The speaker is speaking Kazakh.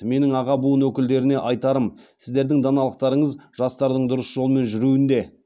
менің аға буын өкілдеріне айтарым сіздердің даналықтарыңыз жастардың дұрыс жолмен жүруінде